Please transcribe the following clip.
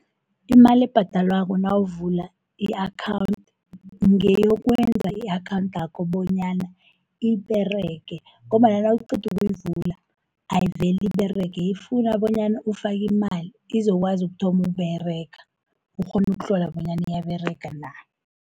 Imali ebhadelwako nawuvula i-akhawunthi, ngeyokwenza i-akhawunthakho bonyana iberege, ngombana nawuqedu ukuyivula ayiveli iberege. Ifuna bonyana ufake imali, izokwazi ukuthoma ukUberega ukghone ukuhlola bonyana iyaberega na.